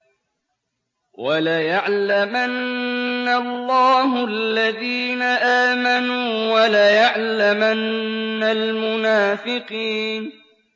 وَلَيَعْلَمَنَّ اللَّهُ الَّذِينَ آمَنُوا وَلَيَعْلَمَنَّ الْمُنَافِقِينَ